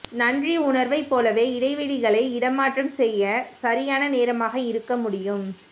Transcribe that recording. நன்றியுணர்வைப் போலவே இடைவெளிகளை இடமாற்றம் செய்ய சரியான நேரமாக இருக்க முடியும்